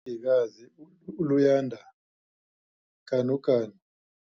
ikazi uLuyanda Ganuganu